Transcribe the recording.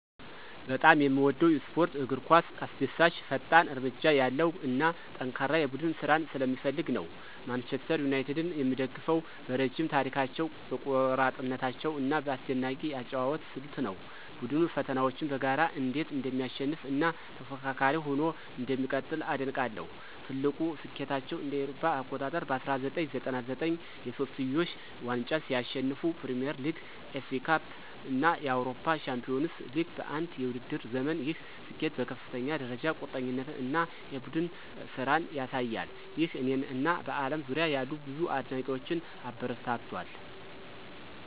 በጣም የምወደው ስፖርት እግር ኳስ አስደሳች፣ ፈጣን እርምጃ ያለው እና ጠንካራ የቡድን ስራን ስለሚፈልግ ነው። ማንቸስተር ዩናይትድን የምደግፈው በረዥም ታሪካቸው፣ በቆራጥነታቸው እና በአስደናቂ የአጨዋወት ስልት ነው። ቡድኑ ፈተናዎችን በጋራ እንዴት እንደሚያሸንፍ እና ተፎካካሪ ሆኖ እንደሚቀጥል አደንቃለሁ። ትልቁ ስኬታቸው እ.ኤ.አ. በ1999 የሶስትዮሽ ዋንጫን ሲያሸንፉ ፕሪሚየር ሊግ፣ ኤፍኤ ካፕ እና የአውሮፓ ቻምፒዮንስ ሊግ በአንድ የውድድር ዘመን፣ ይህ ስኬት በከፍተኛ ደረጃ ቁርጠኝነት እና የቡድን ስራን ያሳያል። ይህ እኔን እና በአለም ዙሪያ ያሉ ብዙ አድናቂዎችን አበረታቷል